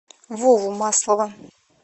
вову маслова